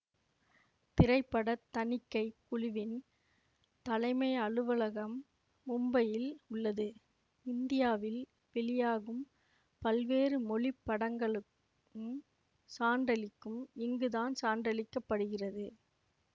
திரைப்பட தணிக்கை குழுவின் தலைமை அலுவலகம் மும்பையில் உள்ளது இந்தியாவில் வெளியாகும் பல்வேறு மொழி படங்களுக்கும் சான்றளிக்கும் இங்குதான் சான்றளிக்கப்படுகிறது